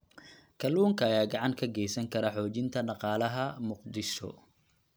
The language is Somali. Kalluunka ayaa gacan ka geysan kara xoojinta dhaqaalaha Muqdisho